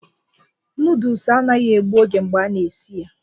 Noodles anaghị egbu oge mgbe a na-esi ya